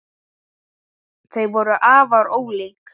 Þau voru afar ólík.